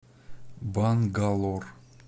бангалор